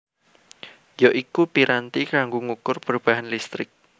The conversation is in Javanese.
ya iku piranti kanggo ngukur perubahan listrik